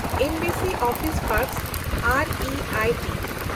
embassy office ᱯᱮᱱᱰᱠᱥ ᱮᱱᱰᱤᱟᱭᱴᱤ